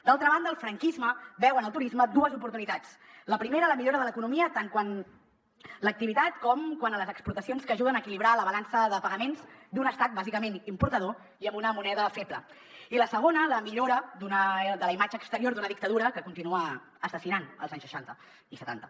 d’altra banda el franquisme veu en el turisme dues oportunitats la primera la millora de l’economia tant quant a l’activitat com quant a les exportacions que ajuden a equilibrar la balança de pagaments d’un estat bàsicament importador i amb una moneda feble i la segona la millora de la imatge exterior d’una dictadura que continua assassinant als anys seixanta i setanta